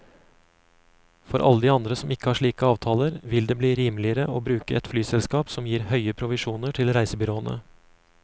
For alle de andre som ikke har slike avtaler, vil det bli rimeligere å bruke et flyselskap som gir høye provisjoner til reisebyråene.